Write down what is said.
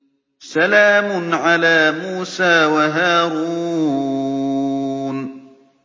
سَلَامٌ عَلَىٰ مُوسَىٰ وَهَارُونَ